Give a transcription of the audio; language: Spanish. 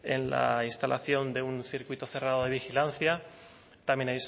en la instalación de un circuito cerrado de vigilancia también